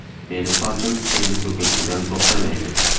Meni sochim endi to‘kilishidan to‘xtamaydi.